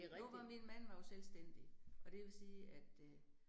Nu var min mand var jo selvstændig, og det vil sige at øh